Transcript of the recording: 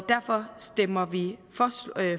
derfor stemmer vi for